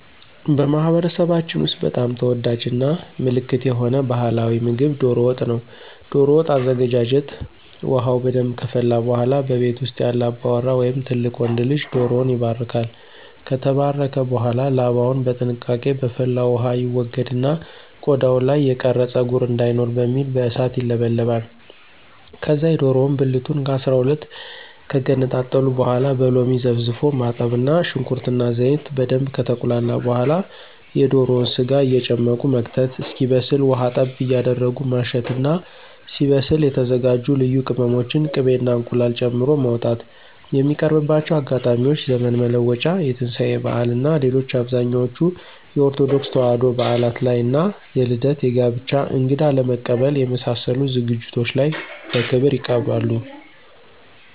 በማህበረሰባችን ውስጥ በጣም ተወዳጅ እና ምልክት የሆነ ባህላዊ ምግብ ዶሮ ወጥ ነው። ዶሮ ወጥ አዘገጃጀት ውሃው በደንብ ከፈላ በኃላ በቤት ውስጥ ያለ አባወራ ወይም ትልቅ ወንድ ልጅ ዶሮውን ይባርካል። ከተባረከ በኃላ ላባውን በጥንቃቄ በፈላው ውሃ ይወገድና ቆዳው ላይ የቀረ ፀጉር እንዳይኖር በሚል በእሳት ይለበለባል። ከዛ የዶሮውን ብልቱን ከ12 ከገነጣጠሉ በኃላ በሎሚ ዘፍዝፎ ማጠብ እና ሽንኩርት እና ዘይት በደንብ ከተቁላላ በኃላ የዶሮውን ስጋ እየጨመቁ መክተት እስኪበስል ውሃ ጠብ እያረጉ ማሸት እና ሲበስል የተዘጋጁ ልዩ ቅመሞችን፣ ቂቤ እና እንቁላል ጨምሮ ማውጣት። የሚቀርብባቸው አጋጣሚዎች ዘመን መለወጫ፣ የትንሳኤ በዓል እና ሌሎች አብዛኞቹ የኦርቶዶክስ ተዋሕዶ በዓላት ላይ እና የልደት፣ የጋብቻ፣ እንግዳ ለመቀበል የመሳሰሉት ዝግጅቶች ላይ በክብር ይቀርባል።